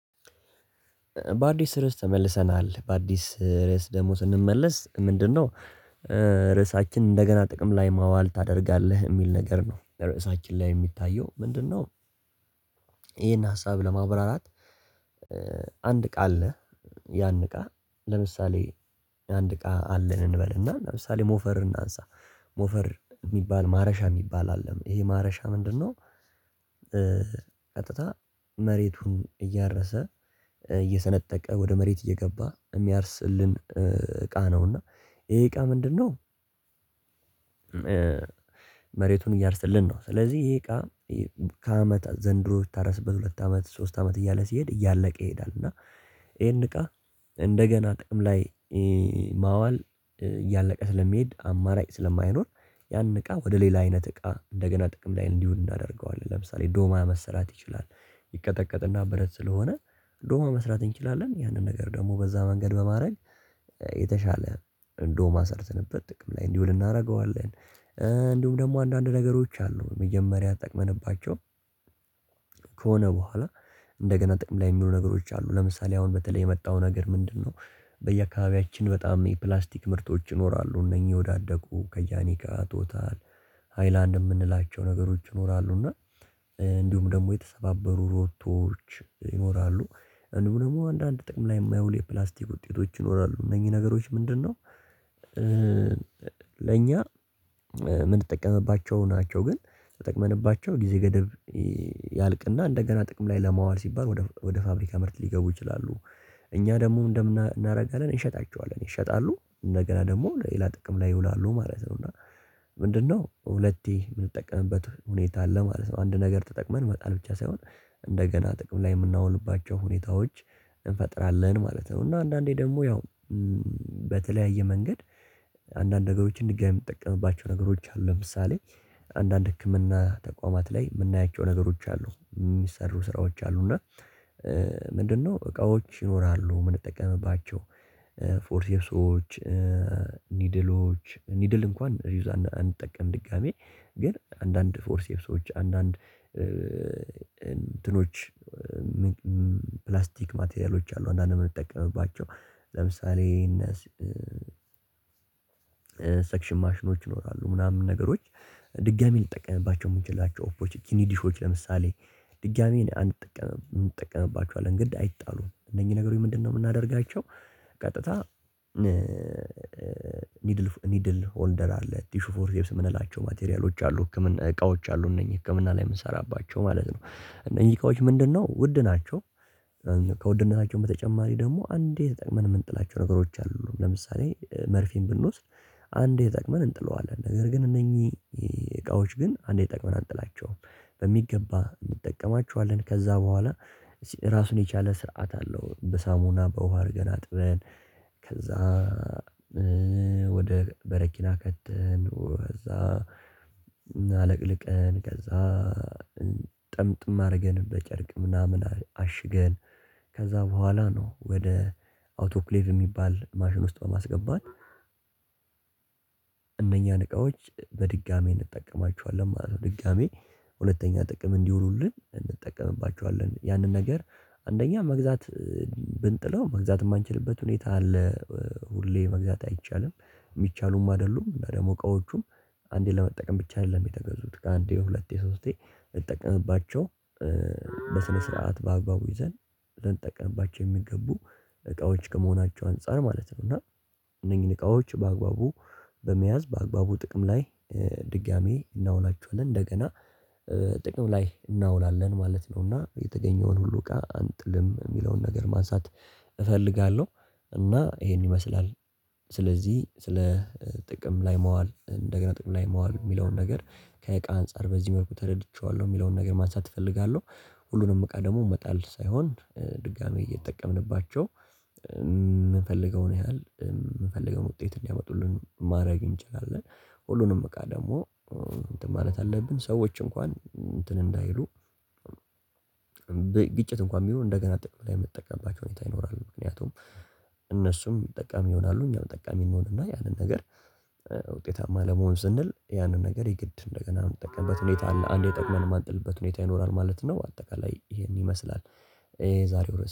በአዲስ ርዕስ ተመልሰናል በአዲስ ርዕስ ደግሞ ስንመለስ ምንድነው? ርዕሳችን እንደገና ጥቅም ላይ ማዋል ታደርጋለህ የሚል ነገር ነው ርዕሳችን ላይ የሚታየው ምንድነው? ሀሳብ ለማብራራት አንድ እቃ አለ። ያን እቃ ለምሳሌ አንድ እቃ አለን እንበልና ለምሳሌ ሞፈር እናንሳ ሞፈር የሚባል ማረሻ የሚባል አለ ይሄ ማረሻ ምንድነው? ቀጥታ መሬቱን እያረሰ እየሰነጠቀ ወደ መሬት እየገባ የሚያርስልን እቃ ነውና። ይሄ እቃ ምንድነው? መሬቱን እያረሰልን ነው። ስለዚህ ይሄ እቃ ከአመት ዘንድሮ ሲታረስበት ሁለት አመት ሶስት አመት እያለ ሲሄድ እያለቀ ይሄዳል። እና ይሄን እቃ እንደገና ጥቅም ላይ ማዋል እያለቀ ስለሚሄድ አማራጭ ስለማይኖር ያን እቃ ወደ ሌላ አይነት እቃ እንደገና ጥቅም ላይ እንዲውል እናደርገዋለን ለምሳሌ ዶማ መሰራት ይችላል። ይቀጠቀጥና ብረት ስለሆነ ዶማ መስራት እንችላለን ያንን ነገር ደግሞ በዛ መንገድ በማድረግ የተሻለ ዶማ ሰርተንበት ጥቅም ላይ እንዲውል እናደርገዋለን። እንዲሁም ደግሞ አንዳንድ ነገሮች አሉ መጀመሪያ ተጠቅመንባቸው። ከሆነ በኋላ እንደገና ጥቅም ላይ የሚውሉ ነገሮች አሉ ለምሳሌ አሁን በተለይ የመጣው ነገር ምንድነው? በየአካባቢያችን በጣም የፕላስቲክ ምርቶች ይኖራሉ እነኚህ የወዳደቁ ከጃኒካ ቶታል ሃይላንድ የምንላቸው ነገሮች ይኖራሉ እና እንዲሁም ደግሞ የተሰባበሩ ሮቶዎች ይኖራሉ። እንዲሁም ደግሞ አንዳንድ ጥቅም ላይ የማይውሉ የፕላስቲክ ውጤቶች ይኖራሉ እነኚህ ነገሮች ምንድነው? ለኛ ምንጠቀምባቸው ናቸው ግን ተጠቅመንባቸው ጊዜ ገደብ ያልቅና እንደገና ጥቅም ላይ ለማዋል ሲባል ወደ ፋብሪካ ምርት ሊገቡ ይችላሉ። እኛ ደግሞ ምን እናደርጋለን እንሸጣቸዋለን ይሸጣሉ እንደገና ደግሞ ሌላ ጥቅም ላይ ይውላሉ ማለት ነው። እና ምንድነው ሁለቴ የምንጠቀምበት ሁኔታ አለ ማለት ነው። አንድ ነገር ተጠቅመን መጣል ብቻ ሳይሆን እንደገና ጥቅም ላይ የምናውልባቸው ሁኔታዎች እንፈጥራለን ማለት ነው። እና አንዳንዴ ደግሞ ያው በተለያየ መንገድ አንዳንድ ነገሮችን ድጋሚ የምንጠቀምባቸው ነገሮች አሉ ለምሳሌ አንዳንድ ህክምና ተቋማት ላይ የምናያቸው ነገሮች አሉ የሚሰሩ ስራዎች አሉ። እና ምንድነው እቃዎች ይኖራሉ የምንጠቀምባቸው ፎርሴሶች ኒድሎች ኒድል እንኳን ሪዩዝ አንጠቀምም። ድጋሚ ግን አንዳንድ ፎርሴፕሶች አንዳንድ እንትኖች ፕላስቲክ ማቴሪያሎች አሉ አንዳንዴ የምንጠቀምባቸው እነ ሰክሽን ማሽኖች ይኖራሉ ምናምን ነገሮች። ድጋሚ ልንጠቀምባቸው የምንችላቸው ኦፖርቹኒቲ ለምሳሌ ድጋሚ አንጠቀምም እንጠቀምባቸዋለን ግን አይጣሉም እነኚህ ነገሮች ምንድነው የምናደርጋቸው? ቀጥታ ኒድል ኒድል ሆልደር አለ ቲሹ ፎርሴፕስ የምንላቸው ማቴሪያሎች አሉ ህክምና እቃዎች አሉ እነኚህ ህክምና ላይ የምንሰራባቸው ማለት ነው። እነኚህ እቃዎች ምንድነው? ውድ ናቸው። ከውድነታቸው በተጨማሪ ደግሞ አንዴ ተጠቅመን የምንጥላቸው ነገሮች አሉ። ለምሳሌ መርፌን ብንወስድ አንዴ ተጠቅመን እንጥለዋለን ነገር ግን እነኚህ እቃዋች ግን አንዴ ተጠቅመን አንጥላቸውም። በሚገባ እንጠቀማቸዋለን ከዛ በኋላ ራሱን የቻለ ስርዓት አለው። በሳሙና በውሃ አድርገን አጥበን ከዛ ወደ በረኪና ከተን ከዛ አለቅልቀን ከዛ ጠምጥም አድርገን በጨርቅ ምናምን አሽገን ከዛ በኋላ ነው ወደ አውቶፕሌቭ የሚባል ማሽን ውስጥ በማስገባት እነኛን እቃዎች በድጋሚ እንጠቀማቸዋለን ማለት ነው። ድጋሚ ሁለተኛ ጥቅም እንዲውሉልን እንጠቀምባቸዋለን ያንን ነገር አንደኛ መግዛት ብንጥለው መግዛት የማንችልበት ሁኔታ አለ። ሁሌ መግዛት አይቻልም። የሚቻሉም አይደሉም እና ደግሞ እቃዎቹም አንዴ ለመጠቀም ብቻ አይደለም የተገዙት ከአንዴ ሁለቴ ሶስቴ ልንጠቀምባቸው በስነ ስርዓት በአግባቡ ይዘን ልንጠቀምባቸው የሚገቡ እቃዎች ከመሆናቸው አንፃር ማለት ነው። እና እነኚህን እቃዎች በአግባቡ በመያዝ በአግባቡ ጥቅም ላይ ድጋሚ እናውላቸዋለን እንደገና ጥቅም ላይ እናውላለን ማለት ነውና። የተገኘውን ሁሉ እቃ አንጥልም የሚለውን ነገር ማንሳት እፈልጋለሁ። እና ይሄን ይመስላል። ስለዚህ ስለ ጥቅም ላይ መዋል እንደገና ጥቅም ላይ ማዋል የሚለውን ነገር ከእቃ አንፃር በዚህ መልኩ ተረድቼዋለሁ የሚለውን ነገር ማንሳት እፈልጋለሁ። ሁሉንም እቃ ደግሞ መጣል ሳይሆን ድጋሚ እየተጠቀምንባቸው የምንፈልገውን ያህል የምንፈልገውን ውጤት እንዲያመጡልን ማድረግ እንችላለን። ሁሉንም እቃ ደግሞ እንትን ማለት አለብን ሰዎች እንኳን እንትን እንዳይሉ። ግጭት እንኳን ቢኖር እንደገና ጥቅም ላይ የምንጠቀምባቸው ሁኔታ ይኖራል። ምክንያቱም እነሱም ጠቃሚ ይሆናሉ እኛም ጠቃሚ እንሆንና ያንን ነገር ውጤታማ ለመሆን ስንል ያንን ነገር የግድ እንደገና የምንጠቀምበት ሁኔታ አለ አንዴ ተጠቅመን የማንጥልበት ሁኔታ ይኖራል ማለት ነው። አጠቃላይ ይሄን ይመስላል። የዛሬው